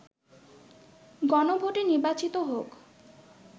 গণভোটে নির্বাচিত হোক